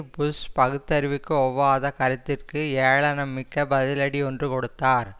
push பகுத்தறிவுக்கு ஒவ்வாத கருத்திற்கு ஏளனம்மிக்க பதிலடி ஒன்று கொடுத்தார்